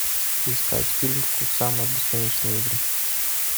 искать фильм кусама бесконечные игры